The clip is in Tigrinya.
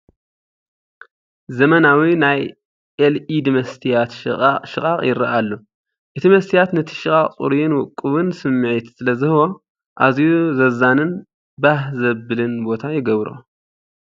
ዘመናዊ ናይ ኤልኢዲ መስትያት ሽቓቕ ይረአ ኣሎ። እቲ መስትያት ነቲ ሽቓቕ ጽሩይን ውቁብን ውቁብን ስምዒት ስለ ዝህቦ፡ ኣዝዩ ዘዛንን ባህ ዘብልን ቦታ ይገብሮ።